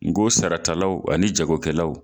N ko saratalaw ani jagokɛlaw